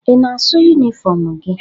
Ị na-asụ yunifọm gị?